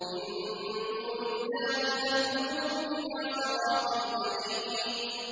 مِن دُونِ اللَّهِ فَاهْدُوهُمْ إِلَىٰ صِرَاطِ الْجَحِيمِ